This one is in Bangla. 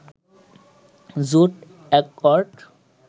জোট অ্যাকর্ড